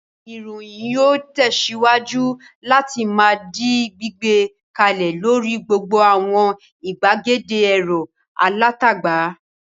Ìròyìn yóò tẹ̀síwájú láti máa di gbígbé kalẹ̀ lórí gbogbo àwọn ìgbàgede ẹ̀rọ alátagbà.